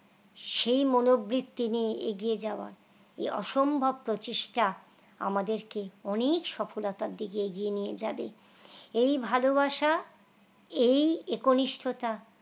সেই মনো বৃত্তি নিয়ে এগিয়ে যাওয়া এই অসম্ভব প্রচেষ্টা আমাদেরকে অনেক সফলতার দিকে এগিয়ে নিয়ে যাবে এই ভালোবাসা এই একনিষ্ঠতা